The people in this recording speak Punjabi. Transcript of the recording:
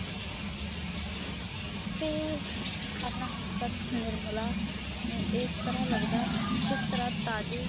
ਤੇ ਆਪਣਾ ਨਿਰਮਲਾ ਇਸ ਤਾਰਾ ਲੱਗਦਾ ਜਿਸ ਤਾਰਾ ਲੱਗਦਾ ਤਾਜੇ